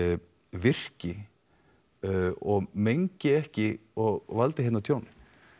virki og mengi ekki og valdi hérna tjóni